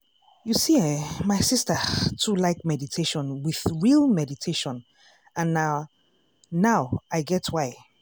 you see eh my sister too like meditation with real meditation and na now i get why.